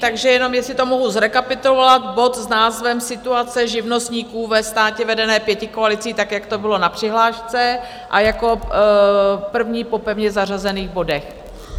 Takže jenom jestli to mohu zrekapitulovat, bod s názvem Situace živnostníků ve státě vedeném pětikoalicí, tak jak to bylo na přihlášce, a jako první po pevně zařazených bodech.